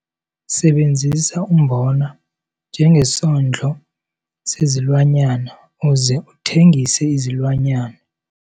Sebenzisa umbona njengesondlo sezilwanyana uze uthengise izilwanyana.